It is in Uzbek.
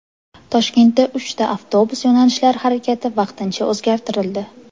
Toshkentda uchta avtobus yo‘nalishlari harakati vaqtincha o‘zgartirildi.